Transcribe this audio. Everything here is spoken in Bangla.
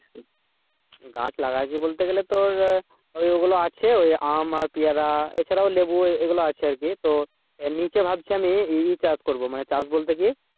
গাছ লাগাইছি বলতে গেলে তোর ওইগুলো আছে আম পেয়ারা এ ছাড়া লেবু এগুলা আছে আরকি তো এর নিচে ভাবছি আমি এ চাষ করবো চাষ বলতে কি.